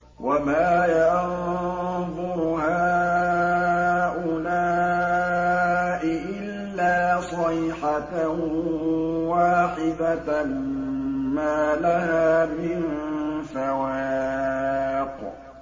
وَمَا يَنظُرُ هَٰؤُلَاءِ إِلَّا صَيْحَةً وَاحِدَةً مَّا لَهَا مِن فَوَاقٍ